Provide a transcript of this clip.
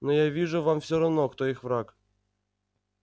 но я вижу вам все равно кто их враг